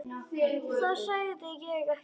Það sagði ég ekki